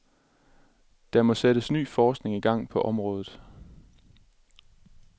Der må sættes ny forskning i gang på området.